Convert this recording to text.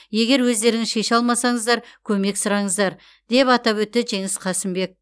егер өздеріңіз шеше алмасаңыздар көмек сұраңыздар деп атап өтті жеңіс қасымбек